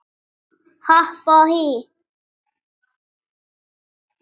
Hopp og hí